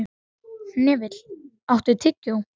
Hnefill, áttu tyggjó?